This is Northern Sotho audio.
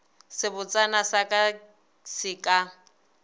sebotsana sa ka se ka